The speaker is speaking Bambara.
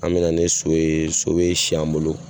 An mɛna ni so ye so bɛ si an bolo.